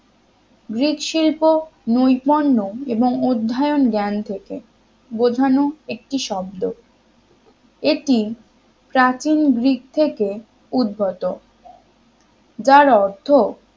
Greek শিল্প নৈপুণ্য এবং অধ্যয়ন জ্ঞান থেকে বোঝানো একটি শব্দ এটি প্রাচীন গ্রিক থেকে উদ্গত যার অর্থ